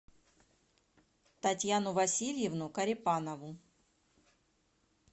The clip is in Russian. татьяну васильевну корепанову